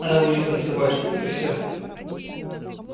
она будет танцевать вот и все